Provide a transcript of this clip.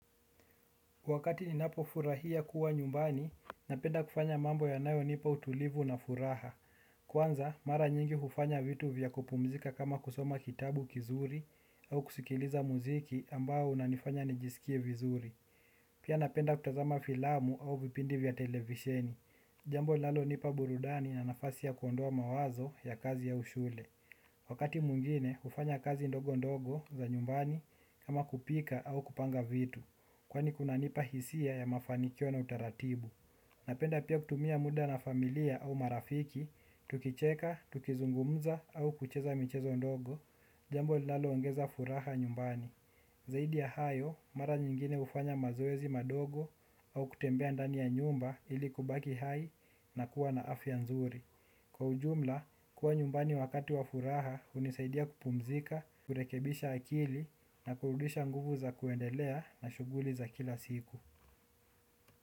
Wakati ninapofurahia kuwa nyumbani napenda kufanya mambo yanayonipa utulivu na furaha. Kwanza, mara nyingi hufanya vitu vya kupumzika kama kusoma kitabu kizuri au kusikiliza muziki ambao unanifanya nijiskie vizuri. Pia napenda kutazama filamu au vipindi vya televisheni. Jambo linalonipa burudani na nafasi ya kuondoa mawazo ya kazi au shule. Wakati mwingine, hufanya kazi ndogondogo za nyumbani kama kupika au kupanga vitu. Kwani kunanipa hisia ya mafanikio na utaratibu. Napenda pia kutumia muda na familia au marafiki. Tukicheka, tukizungumza au kucheza michezo ndogo jambo linaloongeza furaha nyumbani. Zaidi ya hayo, mara nyingine hufanya mazoezi madogo au kutembea ndani ya nyumba ili kubaki hai na kuwa na afya nzuri. Kwa ujumla, kuwa nyumbani wakati wa furaha hunisaidia kupumzika kurekebisha akili na kurudisha nguvu za kuendelea na shughuli za kila siku.